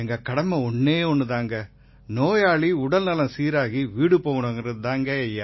எங்க கடமை ஒண்ணே ஒண்ணு தான் நோயாளி உடல்நலம் சீராகி வீடு போகணுங்கறது தான்